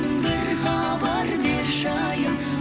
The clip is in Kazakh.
бір хабар берші айым